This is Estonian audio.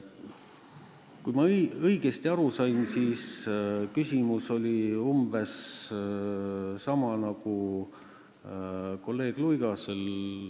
Kui ma õigesti aru sain, siis küsimus oli umbes sama mis kolleeg Luigasel.